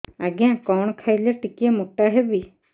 ଆଜ୍ଞା କଣ୍ ଖାଇଲେ ଟିକିଏ ମୋଟା ହେବି